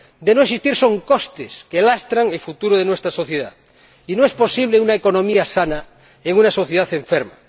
De no existir, son costes que lastran el futuro de nuestra sociedad, y no es posible una economía sana en una sociedad enferma.